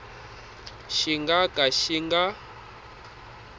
xi nga ka xi nga